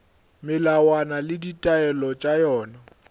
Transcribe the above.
melawana le ditaelo tša yona